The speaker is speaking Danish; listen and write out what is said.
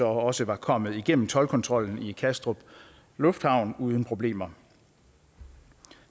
også var kommet igennem toldkontrollen i kastrup lufthavn uden problemer